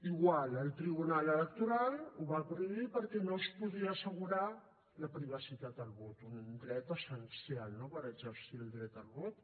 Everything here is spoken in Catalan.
igual el tribunal electoral ho va prohibir perquè no es podia assegurar la privacitat del vot un dret essencial no per exercir el dret a vot